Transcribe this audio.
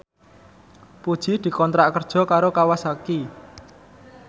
Puji dikontrak kerja karo Kawasaki